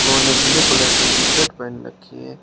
Blue colour के T shirt पहन रखी है।